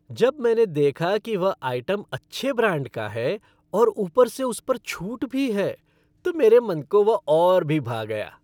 जब मैंने देखा कि वह आइटम अच्छे ब्रांड का है और ऊपर से उस पर छूट भी है, तो मेरे मन को वह और भी भा गया!